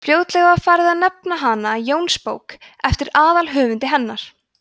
fljótlega var farið að nefna hana jónsbók eftir aðalhöfundi hennar